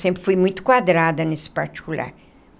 Sempre fui muito quadrada nesse particular.